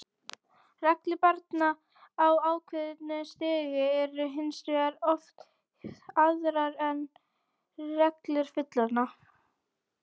Reglur barna á ákveðnu stigi eru hins vegar oft aðrar en reglur fullorðinna.